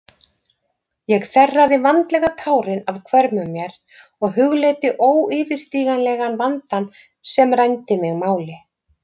Ég þerraði vandlega tárin af hvörmum mér og hugleiddi óyfirstíganlegan vandann sem rændi mig máli.